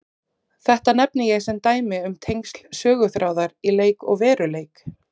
Þetta nefni ég sem dæmi um tengsl söguþráðar í leik og veruleik.